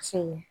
Sɛŋɛ